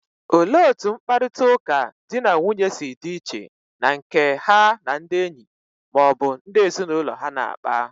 Olee otú mkparịta ụka di na nwunye si dị iche na nke ha na ndị enyi ma ọ bụ ndị ezinụlọ ha na-akpa?